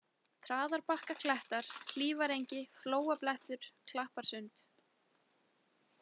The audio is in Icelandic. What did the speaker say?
Traðarbakkaklettar, Hlífarengi, Flóablettur, Klapparsund